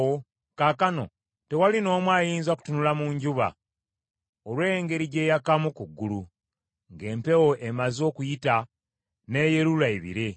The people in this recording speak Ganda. Kaakano tewali n’omu ayinza kutunula mu njuba, olw’engeri gy’eyakamu ku ggulu, ng’empewo emaze okuyita, n’eyelula ebire.